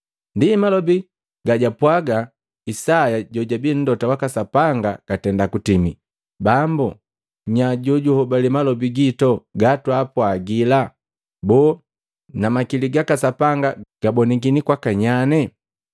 Ndi malobi gajwapwaga Isaya jojabii mlota waka Sapanga gatenda kutimi, “Bambu, nyaa jojugahobali malobi gitu gatwaapwagila? Boo na makili gaka Sapanga gabonikini kwaka nyane?”